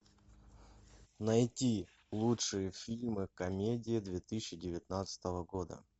найти лучшие фильмы комедии две тысячи девятнадцатого года